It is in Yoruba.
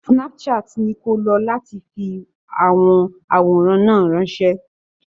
Snapchat ni ko lo láti fi àwọn àwòrán náà ránṣẹ́.